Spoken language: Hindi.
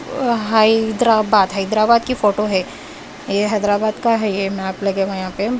अ हैदराबाद हैदराबाद की फोटो है ये हैदराबाद का है ये मैप लगा हुआ है यहाँ पे।